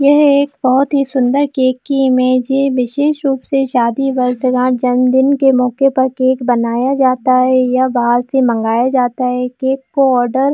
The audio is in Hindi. यह एक बहोत ही सुंदर केक की इमेज है विशेष रूप से शादी वर्ष जन्मदिन की मौके पर केक बनाया जाता है या बाहर से मगाया जाता है केक को आर्डर --